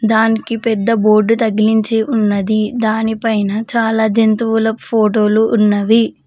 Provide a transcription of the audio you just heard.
దానికి పెద్ద బోర్డు తగిలించి ఉన్నది దాని పైన చాలా జంతువుల ఫోటో లు ఉన్నవి.